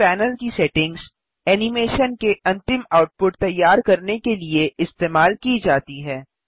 इस पैनल की settings animation के अंतिम आउटपुट तैयार करने के लिए इस्तेमाल की जाती हैं